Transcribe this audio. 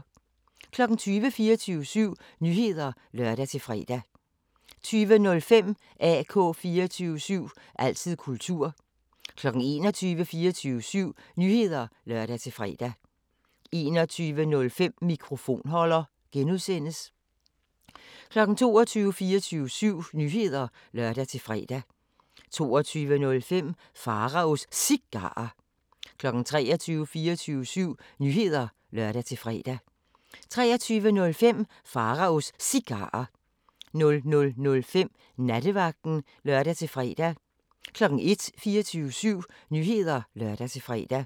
20:00: 24syv Nyheder (lør-fre) 20:05: AK 24syv – altid kultur 21:00: 24syv Nyheder (lør-fre) 21:05: Mikrofonholder (G) 22:00: 24syv Nyheder (lør-fre) 22:05: Pharaos Cigarer 23:00: 24syv Nyheder (lør-fre) 23:05: Pharaos Cigarer 00:05: Nattevagten (lør-fre) 01:00: 24syv Nyheder (lør-fre)